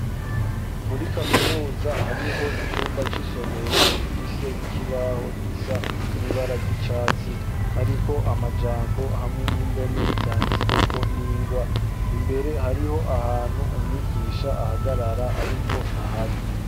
Muri kaminuza, hariho icumba c'isomero, gifise ikibaho, gisa n'ibara ry'icatsi; hariko amajambo, hamwe n'indome, vyanditsweko n'ingwa; imbere, hariho ahantu, umwigisha ahagarara, ariko, ntahari.